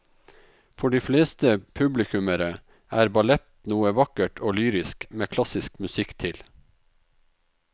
For de fleste publikummere er ballett noe vakkert og lyrisk med klassisk musikk til.